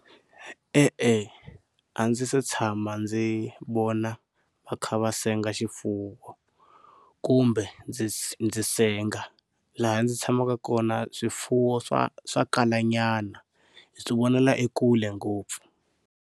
E-e a ndzi se tshama ndzi vona va kha va senga xifuwo kumbe ndzi ndzi senga laha ndzi tshamaka kona swifuwo swa swa kalanyana hi ti vonela ekule ngopfu.